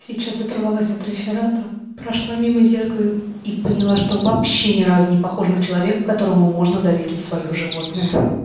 сейчас оторвалась от реферата прошла мимо зеркала и поняла что вообще ни разу не похожа на человека которому можно доверить свою животное